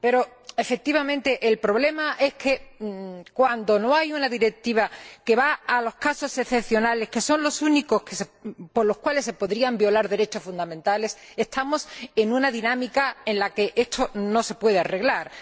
Pero, efectivamente, el problema es que cuando no hay una directiva que va a los casos excepcionales, que son los únicos por los cuales se podrían violar derechos fundamentales, estamos en una dinámica en la que esto no se puede arreglar.